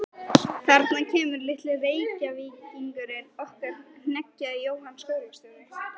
Þarna kemur litli Reykvíkingurinn okkar hneggjaði Jóhann skólastjóri.